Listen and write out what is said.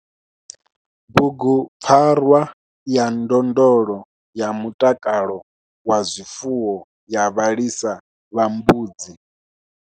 BUGUPFARWA YA NDONDLO YA MUTAKALO WA ZWIFUWO YA VHALISA VHA MBUDZI.